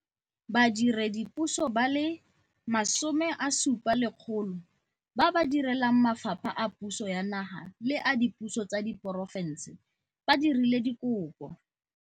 Badiredipuso ba le 17 000 ba ba direlang mafapha a puso ya naga le a dipuso tsa diporofense ba dirile dikopo.